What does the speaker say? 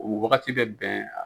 O wagati bɛ bɛn.